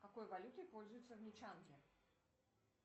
какой валютой пользуются в нячанге